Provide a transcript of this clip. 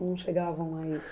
Não chegavam a isso?